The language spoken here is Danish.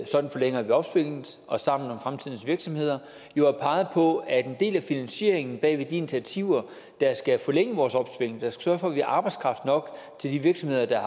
sådan forlænger vi opsvinget og sammen om fremtidens virksomheder har peget på at en del af finansieringen bag de initiativer der skal forlænge vores opsving og sørge for at vi har arbejdskraft nok til de virksomheder der